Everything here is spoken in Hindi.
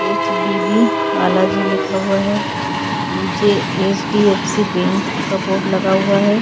एचडीबी बालाजी लिखा हुआ है नीचे एचडीएफसी बैंक का बोर्ड लगा हुआ है।